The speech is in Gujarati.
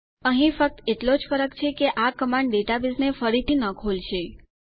અહીં ફક્ત એટલો જ ફરક છે કે આ કમાંડ ડેટાબેઝને ફરીથી ન ખોલશે